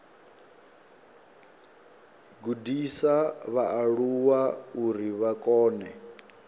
gudisa vhaaluwa uri vha kone